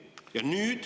Ja nüüd …